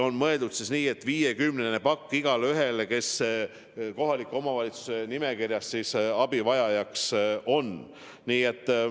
On mõeldud nii, et viiekümnene pakk igaühele, kes kohaliku omavalitsuse abivajajate nimekirjas on.